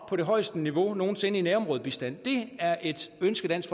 på det højeste niveau nogen sinde i nærområdebistand det er et ønske dansk